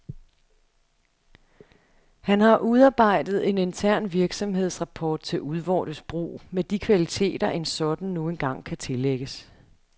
Han har udarbejdet en intern virksomhedsrapport til udvortes brug, med de kvaliteter en sådan nu engang kan tillægges.